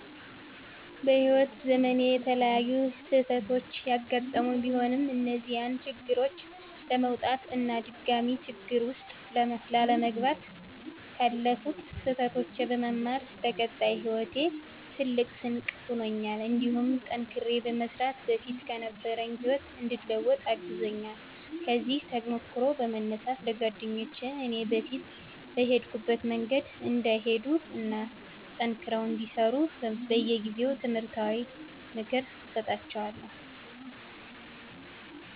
በህይዎት ዘመኔ የተለያዩ ስህተቶች ያጋጠሙኝ ቢሆንም እነዚያን ችግሮች ለመወጣት እና ድጋሜ ችግር ውስጥ ላለመግባት ካለፉት ስህተቶች በመማር ለቀጣይ ሂወቴ ትልቅ ስንቅ ሆኖኛል እንዲሁም ጠንክሬ በመስራት በፊት ከነበረኝ ህይወት እንድለወጥ አግዞኛል። ከዚህ ተሞክሮ በመነሳት ለጓደኞቸ እኔ በፊት በሄድኩበት መንገድ እንዳይሄዱ እና ጠንክረው እንዲሰሩ በየጊዜው ትምህርታዊ ምክር እሰጣቸዋለሁ።